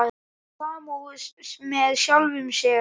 Hefur samúð með sjálfum sér.